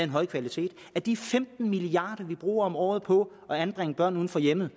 høj kvalitet at de femten milliard kr vi bruger om året på at anbringe børn uden for hjemmet